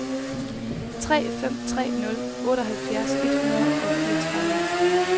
tre fem tre nul otteoghalvfjerds et hundrede og fireogtredive